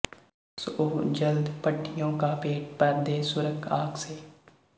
ਸੋ ਜਲਦ ਭੱਠੀਓਂ ਕਾ ਪੇਟ ਭਰ ਦੇ ਸੁਰਖ਼ ਆਗ ਸੇ